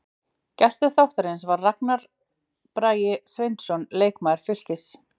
Gestur þáttarins var Ragnar Bragi Sveinsson, leikmaður Fylkis.